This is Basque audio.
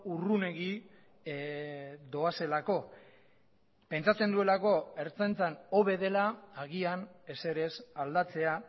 urrunegi doazelako pentsatzen duelako ertzaintzan hobe dela agian ezerez aldatzea